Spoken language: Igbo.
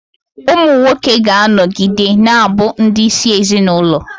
Ụmụ nwoke ga-anọgide na-abụ ndị isi ezinụlọ.